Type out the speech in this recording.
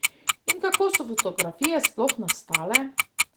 In kako so fotografije sploh nastale?